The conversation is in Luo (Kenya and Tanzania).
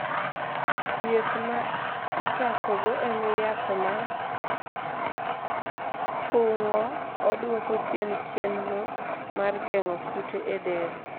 thieth ma ichakogo en yath ma thung'o, dwoko chien chenro ma geng'o kute e del